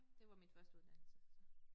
Det var mit første uddannelse så